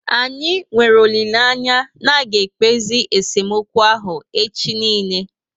Anyị nwere olileanya na aga ekpezi esemokwu ahụ echi niile